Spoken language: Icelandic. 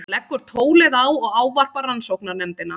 Hann leggur tólið á og ávarpar rannsóknarnefndina.